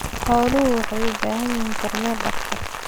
Xooluhu waxay u baahan yihiin kormeer dhakhtar.